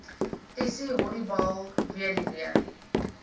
essie honiball weduwee